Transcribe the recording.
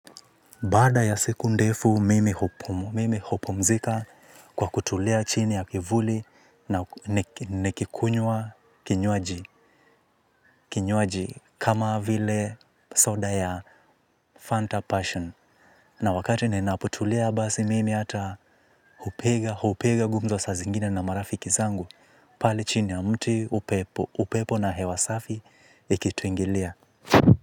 Baada ya siku ndefu, mimi hupumzika kwa kutulia chini ya kivuli na nikikunywa kinywaji kama vile soda ya Fanta Passion. Na wakati ni naputulia basi, mimi ata hupiga gumzo sa zingine na marafiki zangu. Pali chini ya mti upepo na hewasafi ikituingilia.